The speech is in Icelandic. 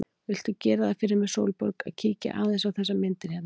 Viltu gera það fyrir mig, Sólborg, að kíkja aðeins á þessar myndir hérna!